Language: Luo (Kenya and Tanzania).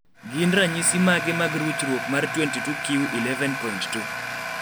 gin ranyisi mage mag ruchruok mar 22q11.2?